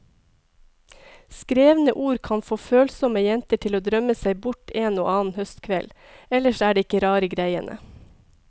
Skrevne ord kan få følsomme jenter til å drømme seg bort en og annen høstkveld, ellers er det ikke rare greiene.